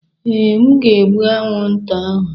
Ee, m ga-egbu anwụnta ahụ.